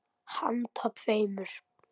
Handa tveimur